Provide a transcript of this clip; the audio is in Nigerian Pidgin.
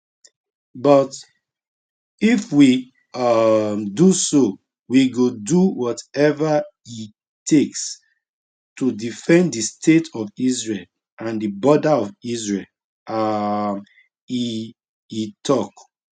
but if we um do so we go do wateva e takes to defend di state of israel and di border of israel um e e tok